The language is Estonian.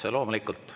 Otse loomulikult.